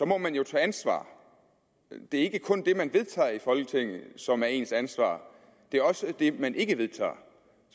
må man jo tage ansvar det er ikke kun det man vedtager i folketinget som er ens ansvar det er også det man ikke vedtager